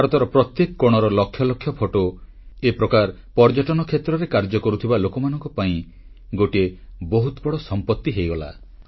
ଭାରତର ପ୍ରତ୍ୟେକ କୋଣର ଲକ୍ଷ ଲକ୍ଷ ଫଟୋ ଏକ ପ୍ରକାର ପର୍ଯ୍ୟଟନ କ୍ଷେତ୍ରରେ କାର୍ଯ୍ୟ କରୁଥିବା ଲୋକମାନଙ୍କ ପାଇଁ ଗୋଟିଏ ବହୁତ ବଡ଼ ସମ୍ପତି ହୋଇଗଲା